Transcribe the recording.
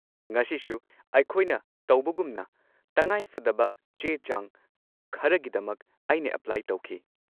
ꯉꯁꯤꯁꯨ ꯑꯩꯈꯣꯏꯅ ꯇꯧꯕꯒꯨꯝꯅ ꯇꯉꯥꯏꯐꯗꯕ ꯆꯦ-ꯆꯥꯡ ꯈꯔꯒꯤꯗꯃꯛ ꯑꯩꯅ ꯑꯦꯄ꯭ꯂꯥꯏ ꯇꯧꯈꯤ꯫